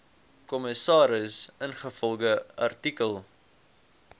kommissaris ingevolge artikel